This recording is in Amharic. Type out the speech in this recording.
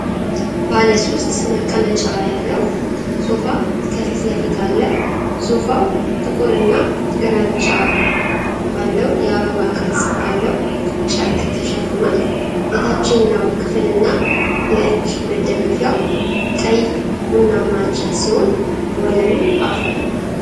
ባለሶስት መቀመጫ ያለው ሶፋ ከፊት ለፊት አለ። ሶፋው ጥቁርና ግራጫ ባለው የአበባ ቅርፅ ባለው ጨርቅ ተሸፍኗል። የታችኛው ክፍልና የእጅ መደገፊያው ቀይ ቡናማ እንጨት ሲሆን፣ ወለሉ አፈር ነው።